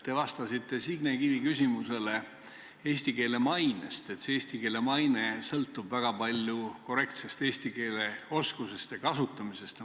Te vastasite Signe Kivi küsimusele eesti keele maine kohta, et see maine sõltub väga palju korrektsest eesti keele oskusest ja kasutamisest.